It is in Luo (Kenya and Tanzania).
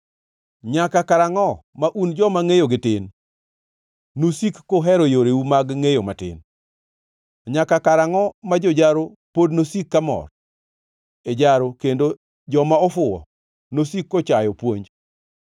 “Nyaka karangʼo ma un joma ngʼeyogi tin nusik kuhero yoreu mag ngʼeyo matin?” Nyaka karangʼo ma jojaro pod nosik kamor, e jaro kendo joma ofuwo nosiki kochayo puonj?